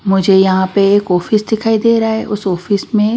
मुझे यहां पे एक ऑफिस दिखाई दे रहा है उस ऑफिस में--